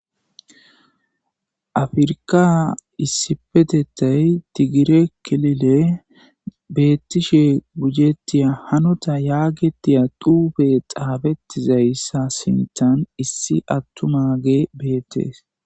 Afrka issipetettay tigire kelile beettishe gujettiya hanota yaagetiya duube xaabetizayssa sintan issi attumage beettees.